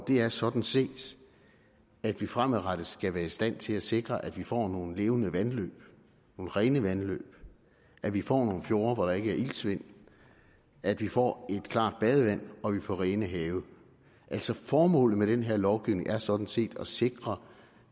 er sådan set at vi fremadrettet skal være i stand til at sikre at vi får nogle levende vandløb nogle rene vandløb at vi får nogle fjorde hvor der ikke er iltsvind at vi får et klart badevand og at vi får rene have altså formålet med den her lovgivning er sådan set at sikre